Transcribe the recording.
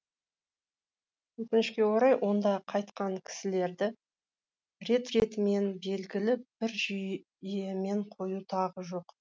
өкінішке орай онда қайтқан кісілерді рет ретімен белгілі бір жүйемен қою тағы жоқ